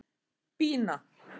Bína